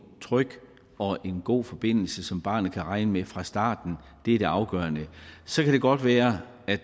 tryg og god forbindelse som barnet kan regne med fra starten er det afgørende så kan det godt være at